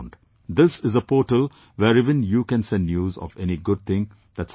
This is a portal where even you can send news of any good thing that's happened to you